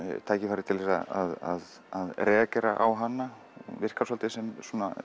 tækifæri til þess að reagera á hana virkar svolítið sem